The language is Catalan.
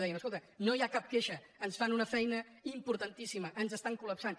deien es·colta no hi ha cap queixa ens fan una feina importan·tíssima ens estan col·lapsant